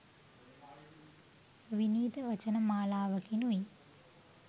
විනීත වචන මාලාවකිනුයි